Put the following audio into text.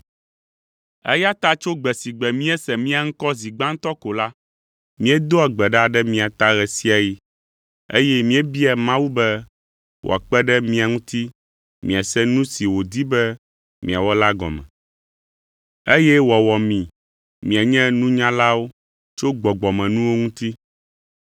Eya ta tso gbe si gbe míese mia ŋkɔ zi gbãtɔ ko la, míedoa gbe ɖa ɖe mia ta ɣe sia ɣi, eye míebiaa Mawu be wòakpe ɖe mia ŋuti miase nu si wòdi be miawɔ la gɔme, eye wòawɔ mi mianye nunyalawo tso gbɔgbɔmenuwo ŋuti.